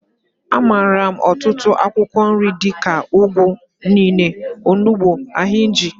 A maara m ọtụtụ akwụkwọ nri dika, ugu, inene, onugbu, ahinji.